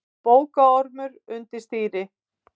Bókaormur undir stýri